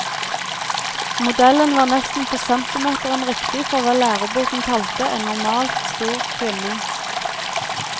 Modellen var nesten på centimeteren riktig for hva læreboken kalte en normalt stor kvinne.